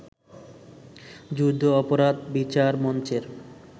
যুদ্ধাপরাধ বিচার মঞ্চের